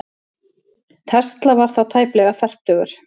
Tesla var þá aðeins tæplega fertugur.